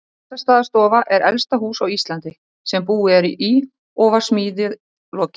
Bessastaðastofa er elsta hús á Íslandi sem búið er í og var smíði lokið